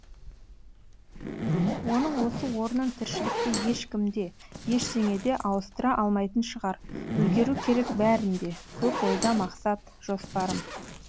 оның осы орнын тіршілікте ешкім де ештеңе де ауыстыра алмайтын шығар үлгеру керек бәрін де көп ойда мақсат жоспарым